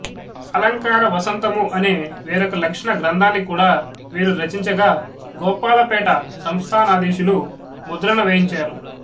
అలంకార వసంతము అనే వేరొక లక్షణ గ్రంథాన్ని కూడా వీరు రచించగా గోపాలపేట సంస్థానాధీశులు ముద్రణ వేయించారు